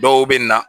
Dɔw bɛ na